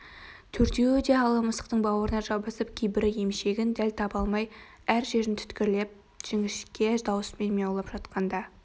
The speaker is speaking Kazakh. төртеуі де ала мысықтың бауырына жабысып кейбірі емшегін дәл таба алмай әр жерін түрткілеп жіңішке даусымен мияулап жатқанда